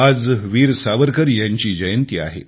आज वीर सावरकर यांची जयंती आहे